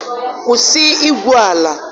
kwụsị igwu ala!